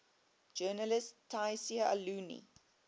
journalist tayseer allouni